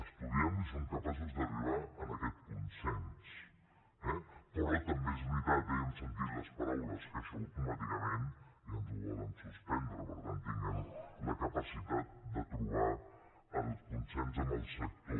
estudiem ho i som capaços d’arribar a aquest consens eh però també és veritat eh i hem sentit les paraules que això automàticament ja ens ho volen suspendre per tant tinguem la capacitat de trobar el consens amb el sector